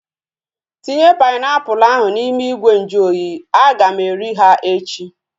Tinye painiapulu ahu n'ime ìgwè nju oyi, aga m eri ha echi